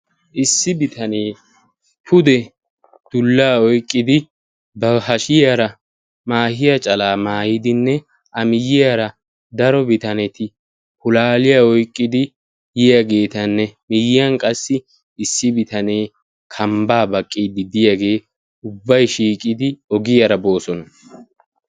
Issi bitanee pudde dullaa oyiqqidi ba hashiyaara maahiya calaa maayidinne a miyiyaara daro bitaneti pulaaliya oyikkidi yiyaageetanna miyiyan qassi issi bitane kambaa baqqiidi diyagee ubbay shiiqidi ogiyaara boosona.